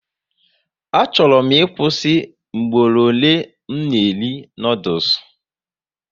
Achọrọ m ịkwụsị mgboro ole m na eri noodules